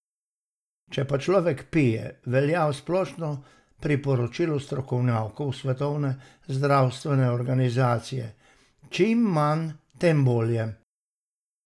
Če pa človek pije, velja splošno priporočilo strokovnjakov Svetovne zdravstvene organizacije: "čim manj, tem bolje".